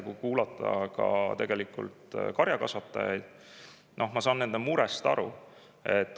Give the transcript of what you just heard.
Kui kuulata karjakasvatajaid, siis ma saan nende murest aru.